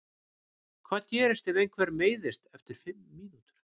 Hvað gerist ef einhver meiðist eftir fimm mínútur?